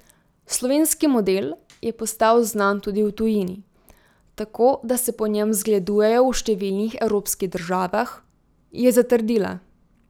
Slovenski model je postal znan tudi v tujini, tako da se po njem zgledujejo v številnih evropskih državah, je zatrdila.